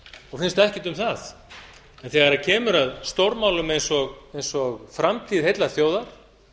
og finnst ekkert um það en þegar kemur að stórmálum eins á framtíð heillar þjóðar